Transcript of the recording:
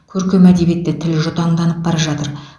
көркем әдебиетте тіл жұтаңданып бара жатыр